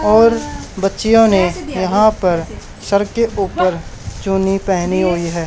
और बच्चियों ने यहां पर सर के ऊपर चुन्नी पहनी हुई है।